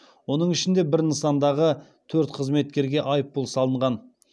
оның ішінде бір нысандағы төрт қызметкерге айыппұл салынған